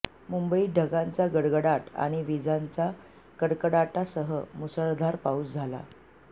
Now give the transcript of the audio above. मुंबईत ढगांचा गडगडाट आणि वीजांच्या कडकडाटासह मुसळधार पाऊस झाला